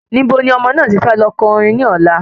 Ibo ni ọmọ náà ti fẹ́ lọ ko orin ni ọ̀la?